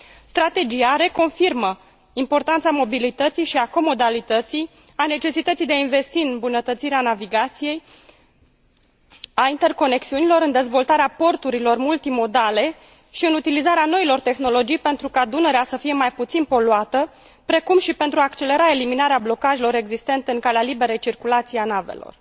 Strategia reconfirmă importanța mobilității și a comodalității, a necesității de a investi în îmbunătățirea navigației și a interconexiunilor, în dezvoltarea porturilor multimodale și în utilizarea noilor tehnologii pentru ca Dunărea să fie mai puțin poluată, precum și pentru a accelera eliminarea blocajelor existente în calea liberei circulații a navelor.